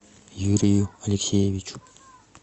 юрию алексеевичу